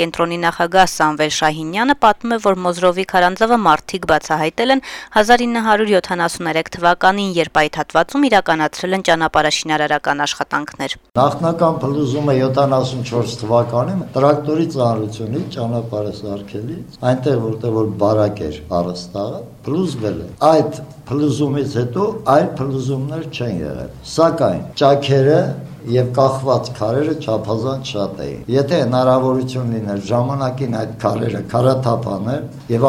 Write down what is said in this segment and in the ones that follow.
կենտրոնի նախագահ Սամվել Շահինյանը պատմում է, որ «Մոզրով»-ի քարանձավը մարդիկ բացահայտել են 1973 թվականին, երբ այդ հատվածում իրականացրել են ճանապարհաշինարարական աշխտանքներ. - «Նախնական փլուզումը 74 թվականին էր: Ճանապարհը սարքելիս տրակտորի ծանրությունից այնտեղ, որտեղ բարակ էր, առաստաղը փլուզվել է: Այդ փլուզումից հետո, այլ փլուզումներ չեն եղել, սակայն ճաքերը եւ կախված քարերը չափազանց շատ էին: Եթե հնարավորություն լիներ ժամանակին այդ քարերը քարաթափ անել եւ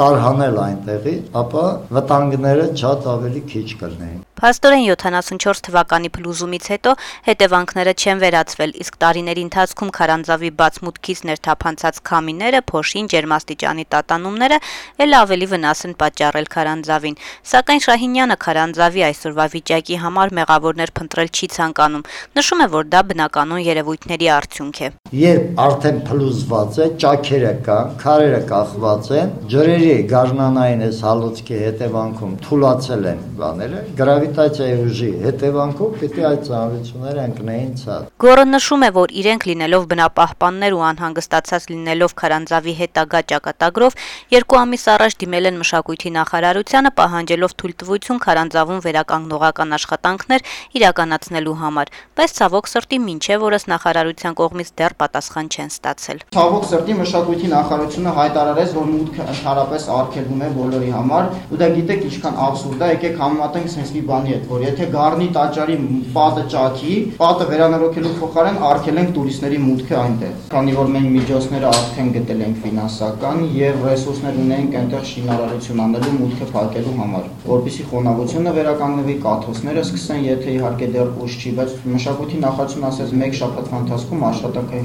տարհանել այդտեղից, ապա վտանգները շատ ավելի քիչ կլինեին»: Փաստորեն 74 թվականի փլուզումից հետո հետեւանքները չեն վերացվել, իսկ տարիների ընթացքում քարանձավի բաց մուտքից ներթափանցած քամիները, փոշին, ջերմաստիճանի տատանումները է'լ ավելի վնաս են պատճառել քարանձավին: Սակայն Շահինյանը քարանձավի այսօրվա վիճակի համար մեղավորներ փնտրել չի ցանկանում, նշում է, որ դա բնականոն երեւույթների արդյունք է. - «Երբ արդեն փլուզված է, ճաքերը կա, քարերը կախված են, ջրերի այս գարնանային հալոցքի հետեւանքով թուլացել են եւ գրավիտացիայի ուժի հետեւանքով այդ ծանրությունները պետք է ընկնեին ցած»: «Փրկենք Մոզրովի քարանձավը» նախաձեռնության անդամ Գոռ Հովհաննիսյանը նշում է, որ իրենք լինելով բնապահպաններ ու անհանգստացած լինելով քարանձավի հետագա ճակատագրով, երկու ամիս առաջ դիմել են մշակույթի նախարարություն` պահանջելով թույլտվություն քարանձավում վերականգնողական աշխատանքներ իրականացնելու համար, բայց, ցավոք սրտի, մինչեւ օրս դեռ պատասխան չեն ստացել: «Ցավոք սրտի, մշակույթի նախարարությունը հայտարարեց, որ մուտքն ընդհանրապես արգելվում է բոլորի համար, ու դա գիտեք ինչ աբսուրդ ա: Եկեք համեմատենք սենց մի բանի հետ, որ եթե Գառնու տաճարի պատը ճաքի, վերանորոգելու փոխարեն, արգելենք տուրիստների մուտքն այնտեղ: Քաnի որ մենք արդեն ֆինանսական միջոցներ ենք գտել եւ ռեսուրսներ ունենք մուտքը փակելու համար այնտեղ շինարարություն իրականացնելու, որպեսզի խոնավությունը վերականգնվի, կաթոցները սկսեն, եթե իհարկե դեռ ուշ չի, բայց մշակույթի նախարարությունն ասաց` մեկ շաբաթվա ընթացքում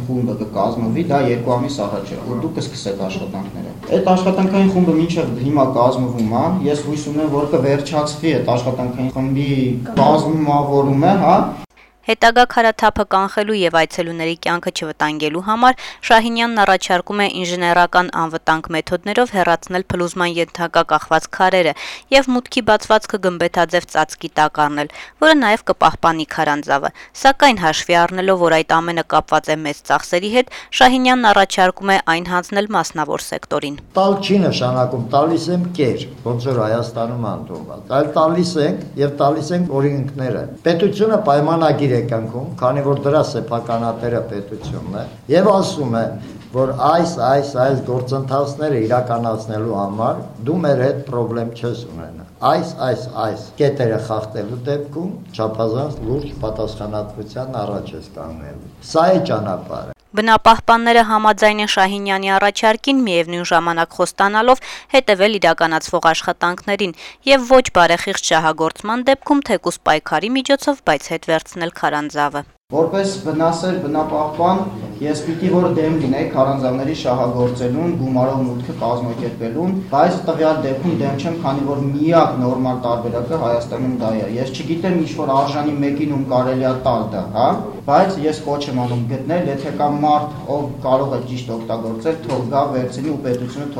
խումբ կկազմվի, ու դուք կսկսեք աշխատանքները: Անցել է արդեն երկու ամիս էդ աշխատանքային խումբը մինչեւ հիմա կազմվում ա, ես հույս ունեմ, որ կվերջացվի խմբի կազմավորման աշխատանքները», - նշում է Գոռը: Հետագա քարաթափը կանխելու եւ այցելուների կյանքը չվտանգելու համար Շահինյանն առաջարկում է ինժեներական անվտանգ մեթոդներով հեռացնել փլուզման ենթակա կախված քարերը եւ մուտքի բացվածքը գմբեթաձեւ ծածկի տակ առնել, որը նաեւ կպահպանի քարանձավը: Սակայն հաշվի առնելով, որ այդ ամենը կապված է մեծ ծախսերի հետ, Շահինյանն առաջարկում է այն հանձնել մասնավոր սեկտորին. - «Տալ չի նշանակում տալիս եմ կեր, ոնց որ Հայաստանում է ընդունված, այլ տալիս ենք եւ տալիս ենք օրենքները: Պետությունը պայմանագիր է կնքում, քանի որ դրա սեփականատերը պետությունն է եւ ասում է, որ այս, այս, այս գործընթացներն իրականացնելու համար դու մեր հետ պրոբլեմ չես ունենա, այս, այս, այս կետերը խախտելու դեպքում չափազանց լուրջ պատասխանատվության առաջ ես կանգնելու»: Բնապահպանները համաձայն են Շահինյանի առաջարկին` միեւնույն ժամանակ խոստանալով հետեւել իրականացվող աշխատանքներին եւ ոչ բարեխիղճ շահագործման դեպքում, թեկուզ պայքարի միջոցով, բայց հետ վերցնել քարանձավը: «Որպես բնասեր, բնապահպան` ես պետք է դեմ լինեի քարանձավները շահագործելուն, գումարով մուտքը կազմակերպելուն, բայց տվյալ դեպքում դեմ չեմ, քանի որ միակ նորմալ տարբերակը Հայաստանում դա է: Ես չգիտեմ ինչ-որ արժանի մեկին ում կարելի է տալ դա, բայց ես կոչ եմ անում գտնել ու եթե կա մարդ, ով կարող է ճիշտ օգտագործել, թող գա, վերցնի ու պետությունը թող